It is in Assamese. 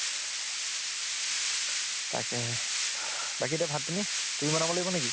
তাকেহে । বাকী এতিয়া ভাত পানী, তুমি বনাব লাগিব নেকি ?